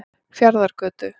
Fjarðargötu